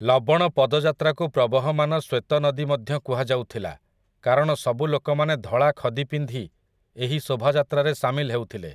ଲବଣ ପଦଯାତ୍ରାକୁ ପ୍ରବହମାନ ଶ୍ୱେତ ନଦୀ ମଧ୍ୟ କୁହାଯାଉଥିଲା କାରଣ ସବୁ ଲୋକମାନେ ଧଳା ଖଦି ପିନ୍ଧି ଏହି ଶୋଭାଯାତ୍ରାରେ ସାମିଲ ହେଉଥିଲେ ।